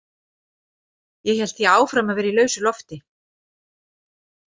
Ég hélt því áfram að vera í lausu lofti.